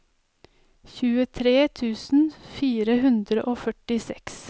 tjuetre tusen fire hundre og førtiseks